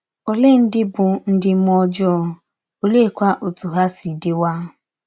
Ọlee ndị bụ ndị mmụọ ọjọọ, ọleekwa ọtụ ha si dịwa?